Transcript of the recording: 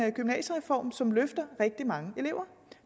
en gymnasiereform som løfter ret mange elever